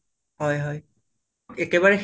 হয় হয় একেবাৰে সেই